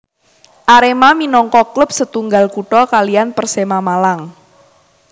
Arema minangka klub setunggal kutha kaliyan Persema Malang